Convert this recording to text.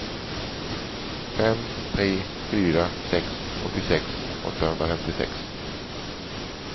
fem tre fyra sex åttiosex åttahundrafemtiosex